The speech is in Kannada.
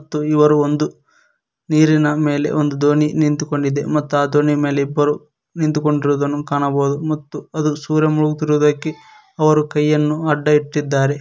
ಮತ್ತು ಇವರು ಒಂದು ನೀರಿನ ಮೇಲೆ ಒಂದು ದೋಣಿ ನಿಂತುಕೊಂಡಿದೆ ಮತ್ತ ಆ ದೋಣಿ ಮೇಲೆ ಇಬ್ಬರು ನಿಂತುಕೊಂಡಿರುವುದನ್ನು ಕಾಣಬಹುದು ಮತ್ತು ಅದು ಸೂರ್ಯ ಮುಳುಗುತ್ತಿರುವುದಕ್ಕೆ ಅವರು ಕೈಯನ್ನು ಅಡ್ಡ ಇಟ್ಟಿದ್ದಾರೆ.